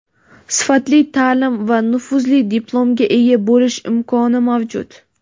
sifatli ta’lim va nufuzli diplomga ega bo‘lish imkoni mavjud.